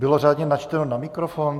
Bylo řádně načteno na mikrofon?